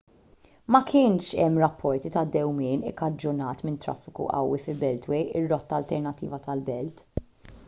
ma kienx hemm rapporti ta' dewmien ikkaġunat minn traffiku qawwi fil-beltway ir-rotta alternattiva tal-belt